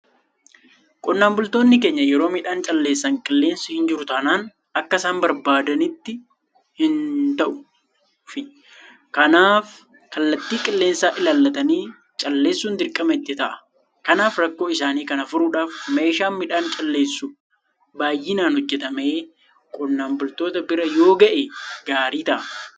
Qonnaan bultoonni keenya yeroo midhaan calleessan qilleensi hinjiru taanaan akka isaan barbaadanitti hin ta'ufi. Kanaaf kallattii qilleensaa ilaallattanii calleessuun dirqama itti ta'a. Kanaaf rakkoo isaanii kana furuudhaaf meeshaan midhaan calleessu baay'inaan hojjetamee qonnaan bultoota bira yooga'e gaarii ta'a.